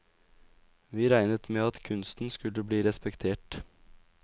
Vi regnet med at kunsten skulle bli respektert.